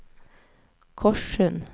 Korssund